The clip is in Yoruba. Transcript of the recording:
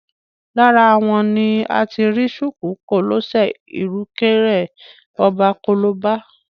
Lára wọn ni a ti rí ṣùkú, kòlẹ́sẹ̀, ìrùkẹ̀rẹ̀ ọba, kolobá